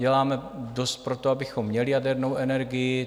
Děláme dost pro to, abychom měli jadernou energii.